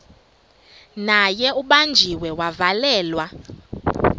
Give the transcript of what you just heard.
naye ubanjiwe wavalelwa